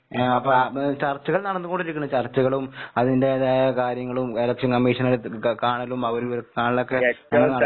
ആഹ് പാ ഉം ചർച്ചകൾ നടന്ന്കൊണ്ടിരിക്കണ്. ചർച്ചകളും അതിന്റേതായ കാര്യങ്ങളും എലെക്ഷൻ കമ്മീഷനെ കാണലും അവര് കാണലൊക്കെ